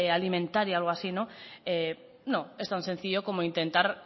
alimentaria o algo así no es tan sencillo como intentar